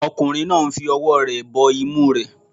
Ọkùnrin náà ń fi ọwọ́ rẹ̀ bo imú rẹ̀